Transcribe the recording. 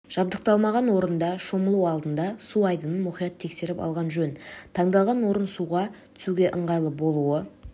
жабдықталмаған орында шомылу алдында су айдынын мұқият тексеріп алған жөн таңдалған орын суға түсуге ыңғайлы болуы